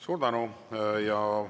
Suur tänu!